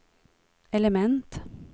element